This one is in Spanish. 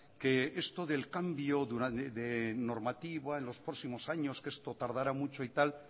que esto del cambio de normativa en los próximos años que esto tardará mucho y tal